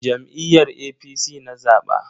Jam'iyyar APC na zaba.